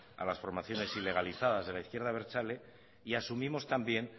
a las formaciones ilegalizadas de la izquierda abertzale y asumimos también